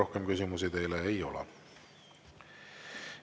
Rohkem küsimusi teile ei ole.